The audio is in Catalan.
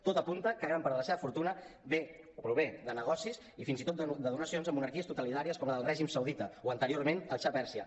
tot apunta que gran part de la seva fortuna ve o prové de negocis i fins i tot de donacions en monarquies totalitàries com la del règim saudita o anteriorment el xa de pèrsia